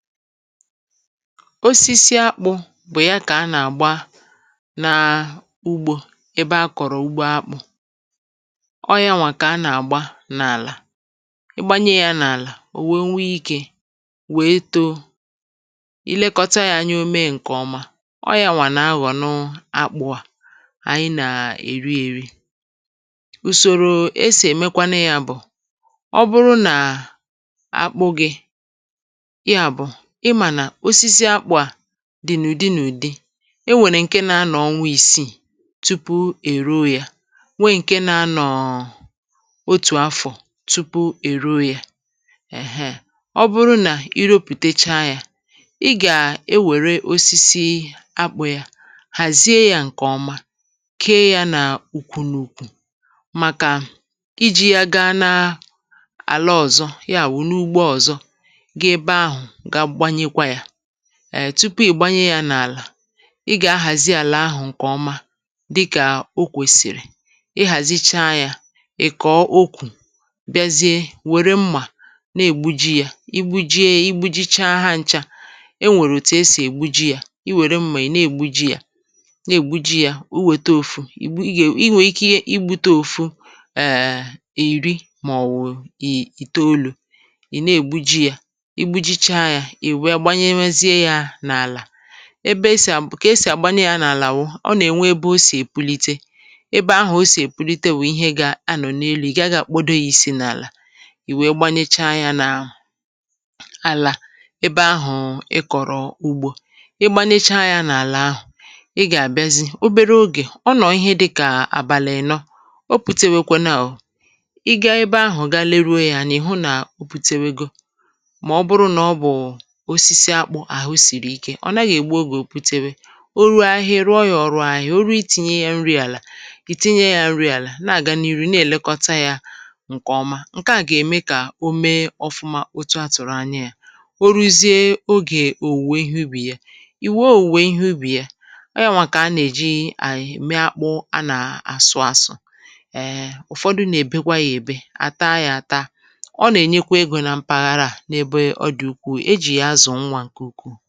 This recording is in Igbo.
osisi akpụ̇ bụ̀ ya kà a nà-àgba naa ugbȯ, ebe a kọ̀rọ̀ ugbo akpụ̇. ọọ ya nwà kà a nà-àgba n’àlà, ị gbanye ya n’àlà ò wèe nwee ikė wèe too. i lekọta ya, um anyị omei̇ ǹkè ọma. ọọ ya nwà nà-ahọ̀ n’akpụ̇ à ànyị nà-èri èri. ùsòrò e sì èmekwanụ ya bụ̀, ọ bụrụ nà akpụ gị dìnụ̀dị nụ̀dị, e nwèrè ǹke na-anọ̀ ọnwa ìsiì tupu èro yȧ, nwee ǹke na-anọ̀ọ̀ otù afọ̀ tupu èro yȧ. èheè, ọ bụrụ nà iro pùtechaa yȧ, ị gà-e wère osisi akpụ̇ yȧ hàzie yȧ ǹkè ọma, kee yȧ nà ùkwù n’ùkwù, màkà iji̇ ya gaa na àla ọ̀zọ, ya bụ̀ n’ugbo ọ̀zọ. ètupu ị̀gbanye ya n’àlà, i gà-ahàzi àlà ahụ̀ ǹkè ọma, dịkà okwèsìrì, ihàzicha yȧ, ị̀kọ̀ okwù, bịazie wère mmà na-ègbuji yȧ. igbuje ya, igbuji chaa ha ncha. e nwèrè òtù esì ègbuji ya: i wère mmà ì na-ègbuji ya, na-ègbuji ya uwèto òfu ì. gà, i hùrù ike iji̇ bute òfu. èèè, èri, màọ̀wù ì ì toolu̇ ebe esì à bụ̀ kà esì àgbani yȧ n’àlà. wụ, ọ nà-ènwe ebe o sì èbulite, ebe ahụ̀ o sì èbulite, wụ̀ ihe gȧ-anọ̀ n’elu̇. ị̀ gaghị̇ àkpodo ya isi n’àlà. ì wee gbanyecha yȧ n’àlà ebe ahụ̀ ị kọ̀rọ̀ ugbȯ. i gbanyecha yȧ n’àlà ahụ̀, ị gà-àbịazị obere ogè ọ nọ̀ọ̀, ihe dịkà àbàlị̀ nọ. o pùtewekwe nà ò, ị gaa ebe ahụ̀, ga leruo yȧ nà ị̀ hụ nà o pùtewego. ọ̀ nàghị̀ ègbu ogè. butewe o ruo ahịa, ya, ị rụọ ya ọrụ ahịa. o ruo itinye ya nri àlà, ì tinye ya nri àlà, nà-àga n’irì, na-èlekọta ya ǹkè ọma. ǹke à gà-ème kà o mee ọfụma, otu a tụ̀rụ̀ anya ya o ruziė ogè òwùwè ihe ubì ya. ì wee òwùwè ihe ubì ya. ọ ya nwà kà a nà-èji à ème akpụ. a nà-àsụ asụ, ụ̀fọdụ nà-èbekwa ya èbe à taa yȧ àta. ọ nà-ènyekwa egȯ na mpaghara à, n’ebe ọ dị ukwu, ǹwa nkè ukwu.